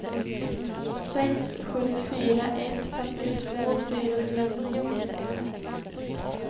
sex sju fyra ett femtiotvå fyrahundranio